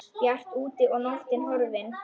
Bjart úti og nóttin horfin.